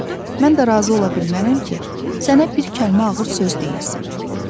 Mən də razı ola bilmərəm ki, sənə bir kəlmə ağır söz deyilsin.